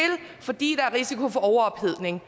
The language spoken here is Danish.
fordi der er risiko for overophedning